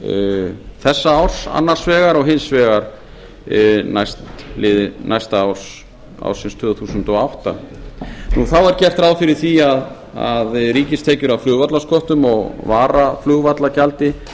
fjárlög þessa árs annars vegar og hins vegar næsta árs ársins tvö þúsund og átta þá er gert ráð fyrir því að ríkistekjur af flugvallasköttum og varaflugvallagjaldi